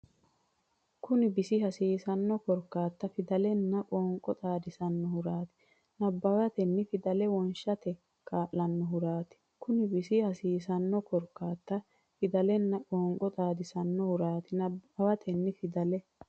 Kuni bisi hasiisanno korkaatta Fidalenna qoonqo xaadisannohuraati Nabbawatenna fidale woshshate kaa lannohuraati Kuni bisi hasiisanno korkaatta Fidalenna qoonqo xaadisannohuraati Nabbawatenna fidale.